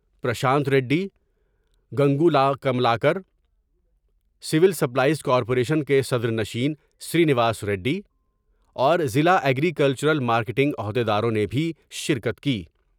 Prashant Reddy, Gangula Kamalakar civil supplies corporation صدرنشین سرینواس ریڈی اور ضلع ایگریکلچرل مارکینگ عہد یداروں نے بھی شرکت کی ۔